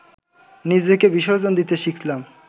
নিজেকে বিসর্জন দিতে শিখলাম